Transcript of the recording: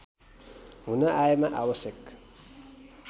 हुन आएमा आवश्यक